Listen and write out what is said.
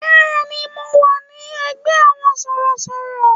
Bẹ́ẹ̀ni, mo wà ní ẹgbẹ́ àwọn sọ̀rọ̀sọ̀rọ̀.